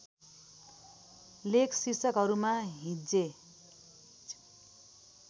लेख शीर्षकहरूमा हिज्जे